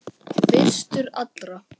Fyrstur allra.